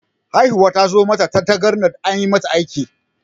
Haihuwar ta zo mata da tangarɗa, an yi mata aiki.